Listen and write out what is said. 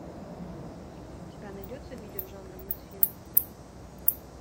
у тебя найдется видео жанра мультфильм